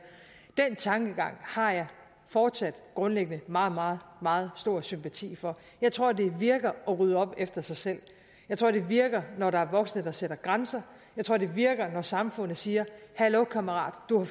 den tankegang har jeg fortsat grundlæggende meget meget meget stor sympati for jeg tror det virker at rydde op efter sig selv jeg tror det virker når der er voksne der sætter grænser jeg tror det virker når samfundet siger hallo kammerat du har